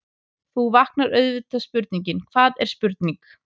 Þá vaknar auðvitað spurningin: hvað er spurning?.